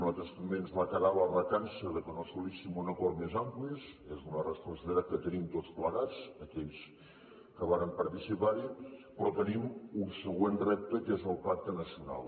a nosaltres també ens va quedar la recança que no assolíssim un acord més ampli és una responsabilitat que tenim tots plegats aquells que vàrem participarhi però tenim un següent repte que és el pacte nacional